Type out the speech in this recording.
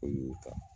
O y'o ta